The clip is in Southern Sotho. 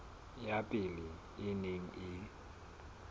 ya pele e neng e